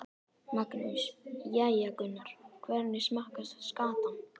Magnús: Jæja Gunnar, hvernig smakkast skatan?